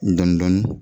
Dɔni dɔni